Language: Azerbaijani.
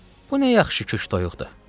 Bu nə yaxşı kök toyuqdur?